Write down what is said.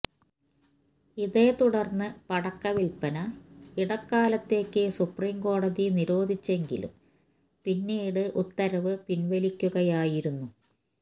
ഇതേതുടര്ന്ന് പടക്കവില്പ്പന ഇടക്കാലത്തേക്ക് സുപ്രീം കോടതി നിരോധിച്ചെങ്കിലും പിന്നീട് ഉത്തരവ് പിന്വലിക്കുകയായിരുന്നു